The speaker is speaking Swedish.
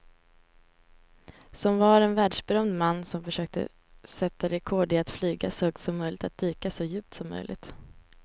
Som var en världsberömd man som försökte sätta rekord i att flyga så högt som möjligt och dyka så djupt som möjligt.